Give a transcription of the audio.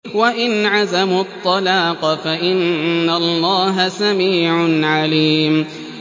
وَإِنْ عَزَمُوا الطَّلَاقَ فَإِنَّ اللَّهَ سَمِيعٌ عَلِيمٌ